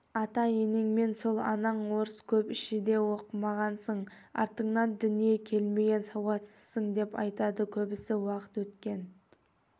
ата-енемнің сол анаң орыс көп ішеді оқымағансың артыңнан дүние келмеген сауатсызсың деп айтады көбісі уақыт өткен